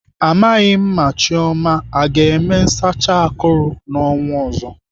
Amaghị m ma Chioma ọ ga-eme nsacha akụrụ n'ọnwa ọzọ.